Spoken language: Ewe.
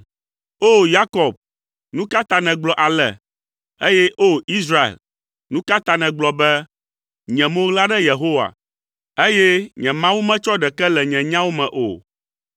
O! Yakob, nu ka ta nègblɔ ale, eye O! Israel, nu ka ta nègblɔ be, “Nye mo ɣla ɖe Yehowa, eye nye Mawu metsɔ ɖeke le nye nyawo me o?”